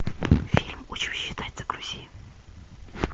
фильм учусь считать загрузи